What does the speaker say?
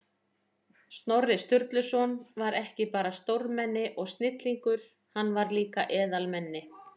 Snorri Sturluson var ekki bara stórmenni og snillingur, hann var líka eðalmenni.